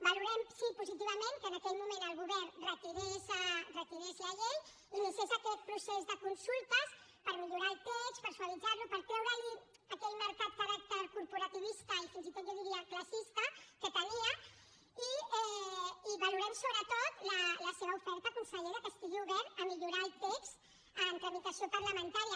valorem sí positivament que en aquell moment el govern retirés la llei i iniciés aquest procés de consultes per millorar el text per suavitzar lo per treure li aquell marcat caràcter corporativista i fins i tot jo diria classista que tenia i valorem sobretot la seva oferta conseller que estigui obert a millorar el text en tramitació parlamentària